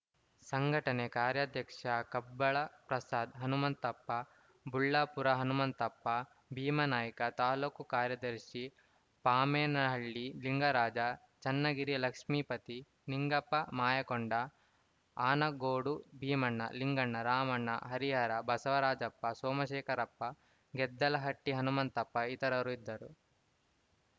ಸಂಘಟನೆ ಕಾರ್ಯಾಧ್ಯಕ್ಷ ಕಬ್ಬಳ ಪ್ರಸಾದ್ ಹನುಮಂತಪ್ಪ ಬುಳ್ಳಾಪುರ ಹನುಮಂತಪ್ಪ ಭೀಮಾನಾಯ್ಕ ತಾಲೂಕು ಕಾರ್ಯದರ್ಶಿ ಪಾಮೇನಹಳ್ಳಿ ಲಿಂಗರಾಜ ಚನ್ನಗಿರಿ ಲಕ್ಷ್ಮೀಪತಿ ನಿಂಗಪ್ಪ ಮಾಯಕೊಂಡ ಆನಗೋಡು ಭೀಮಣ್ಣ ಲಿಂಗಣ್ಣ ರಾಮಣ್ಣ ಹರಿಹರ ಬಸವರಾಜಪ್ಪ ಸೋಮಶೇಖರಪ್ಪ ಗೆದ್ದಲಹಟ್ಟಿಹನುಮಂತಪ್ಪ ಇತರರು ಇದ್ದರು